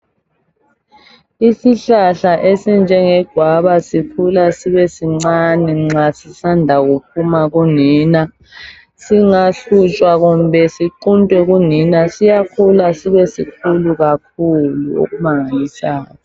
Isihlahla esinjenge gwaba sikhula sibe sincane nxa sisanda kuphuma kunina. Singahlutshwa kumbe siquntwe kunina siyakhula sibe sikhulu kakhulu okumangalisayo